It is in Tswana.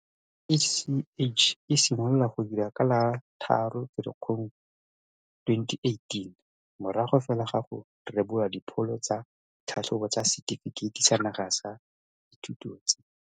Tirelo ya CACH e simolola go dira ka la bo 3 Ferikgong 2018, morago fela ga go rebolwa dipholo tsa ditlhatlhobo tsa Setefikeiti sa Naga sa Dithuto tse